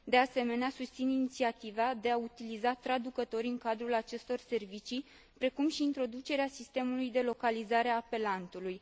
De asemenea, susțin inițiativa de a utiliza traducători în cadrul acestor servicii, precum și introducerea sistemului de localizare a apelantului.